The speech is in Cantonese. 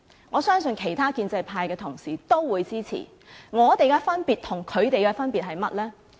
我相信其他的建制派同事也會予以支持，我們提出與他們提出有何分別？